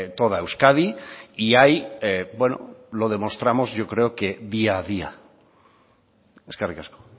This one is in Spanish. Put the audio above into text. toda euskadi y ahí lo demostramos yo creo que día a día eskerrik asko